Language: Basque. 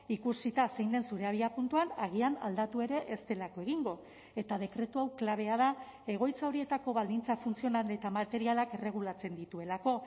ikusita zein den zure abiapuntuan agian aldatu ere ez delako egingo eta dekretu hau klabea da egoitza horietako baldintza funtzional eta materialak erregulatzen dituelako